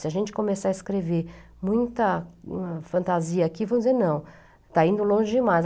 Se a gente começar a escrever muita fantasia aqui, vão dizer, não, está indo longe demais.